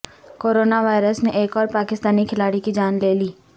corona virus نے ایک اور پاکستانی کھلاڑی کی جان لے لی